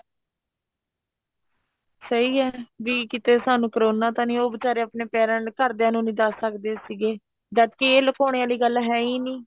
ਸਹੀ ਏ ਬੀ ਕੀਤੇ ਸਾਨੂੰ ਕਰੋਨਾ ਤਾਂ ਨਹੀਂ ਉਹ ਬੀਚਾਰੇ ਆਪਣੇ ਪੈਰਾ ਘਰਦਿਆ ਨੂੰ ਨਹੀਂ ਦੱਸ ਸਕਦੇ ਸੀਗੇ ਜਦ ਕੀ ਇਹ ਲਕੋਣੇ ਵਾਲੀ ਗੱਲ ਹੈ ਈ ਨਹੀਂ